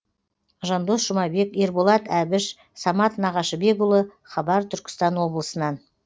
жандос жұмабек ерболат әбіш самат нағашыбекұлы хабар түркістан облысынан